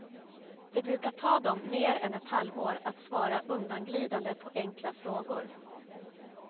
Det brukar ta dem mer än ett halvår att svara undanglidande på enkla frågor.